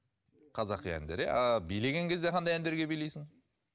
қазақи әндер иә а билеген кезде қандай әндерге билейсің